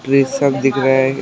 ये सब दिख रहा है।